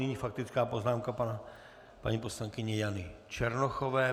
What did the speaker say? Nyní faktická poznámka paní poslankyně Jany Černochové.